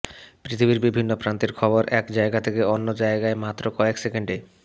পৃথিবীর বিভিন্ন প্রান্তের খবর এক জায়গা থেকে অন্য জায়গায় মাত্র কয়েক সেকেন্ডে